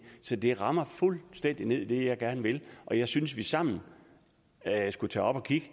så det rammer fuldstændig ned i det jeg gerne vil og jeg synes vi sammen skulle tage op og kigge